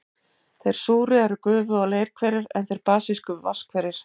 Þeir súru eru gufu- og leirhverir, en þeir basísku vatnshverir.